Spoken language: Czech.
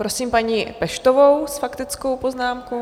Prosím paní Peštovou s faktickou poznámkou.